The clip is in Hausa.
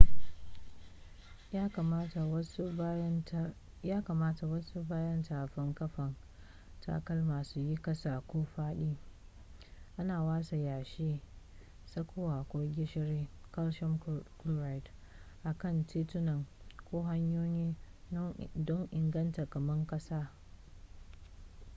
ya kamata wasu bayan tafin kafan takalma su yi kasa ko faɗi. ana watsa yashi tsakuwa ko gishiri calcium chloride a kan tituna ko hanyoyi don inganta kama ƙasa